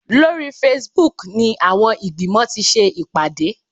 Lórí Facebook ni àwọn ìgbìmọ̀ ti ṣe ìpàdé